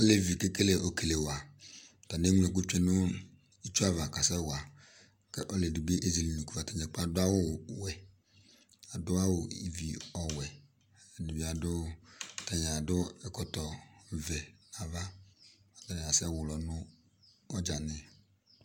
ɔlɛvi kɛkɛlɛ ɔkɛlɛwa tani ɛglɛku tçɛya kaɛya ɔlɔadibi adɔ awɔɣɛ adɔ awɔ ɩviwɛ atani adɔ ɛkɔtɔ vɛ nu ava atani asɛlɔ nu ɔgani